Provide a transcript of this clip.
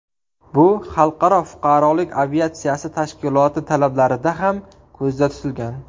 Bu Xalqaro fuqarolik aviatsiyasi tashkiloti talablarida ham ko‘zda tutilgan.